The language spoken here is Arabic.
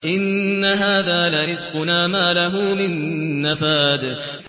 إِنَّ هَٰذَا لَرِزْقُنَا مَا لَهُ مِن نَّفَادٍ